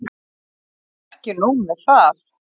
Og ekki nóg með það.